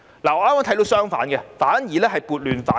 我看到的剛好相反，是撥亂反正。